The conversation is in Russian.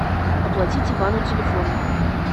оплатить ивану телефон